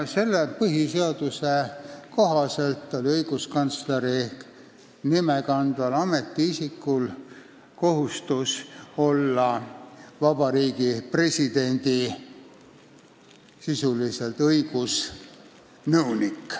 Selle põhiseaduse kohaselt oli õiguskantsleri nimetust kandval ametiisikul kohustus olla sisuliselt Vabariigi Presidendi õigusnõunik.